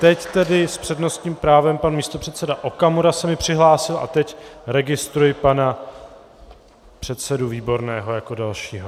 Teď tedy s přednostním právem pan místopředseda Okamura se mi přihlásil a teď registruji pana předsedu Výborného jako dalšího.